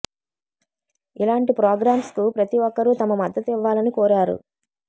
ఇలాంటి ప్రోగ్రామ్స్కు ప్రతి ఒక్కరూ తమ మద్దతు ఇవ్వాలని కోరారు